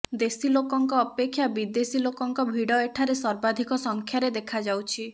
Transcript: ଦେଶୀ ଲୋକଙ୍କ ଅପେକ୍ଷା ବିଦେଶୀ ଲୋକଙ୍କ ଭିଡ଼ ଏଠାରେ ସର୍ବାଧିକ ସଂଖ୍ୟାରେ ଦେଖାଯାଉଛି